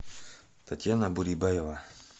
татьяна бурибаева